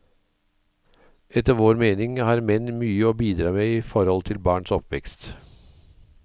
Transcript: Etter vår mening har menn mye å bidra med i forhold til barns oppvekst.